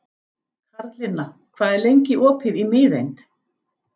Karlinna, hvað er lengi opið í Miðeind?